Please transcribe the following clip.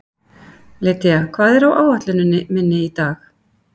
Lydia, hvað er á áætluninni minni í dag?